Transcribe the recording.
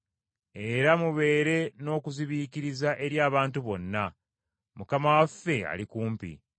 Era mubeere n’okuzibiikiriza eri abantu bonna. Mukama waffe, ali kumpi.